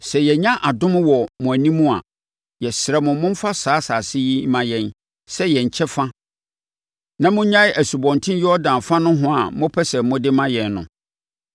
Sɛ yɛanya adom wɔ mo anim a, yɛsrɛ mo momfa saa asase yi mma yɛn sɛ yɛn kyɛfa na monnyae Asubɔnten Yordan fa nohoa a mopɛ sɛ mode ma yɛn no.”